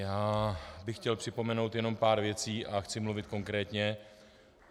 Já bych chtěl připomenout jenom pár věcí a chci mluvit konkrétně.